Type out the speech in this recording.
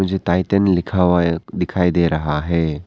Titan लिखा हुआ है दिखाई दे रहा है।